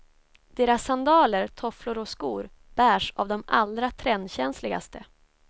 Deras sandaler, tofflor och skor bärs av de allra trendkänsligaste.